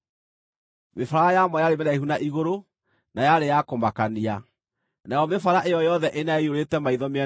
Mĩbara ya mo yarĩ mĩraihu na igũrũ na yarĩ ya kũmakania, nayo mĩbara ĩyo yothe ĩna yaiyũrĩte maitho mĩena yothe.